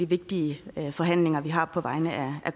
vigtige forhandlinger vi har på vegne af